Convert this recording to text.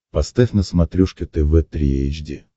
поставь на смотрешке тв три эйч ди